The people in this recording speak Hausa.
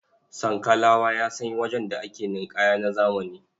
Sankalawa ya san wajen da ake ninƙaya na zamani.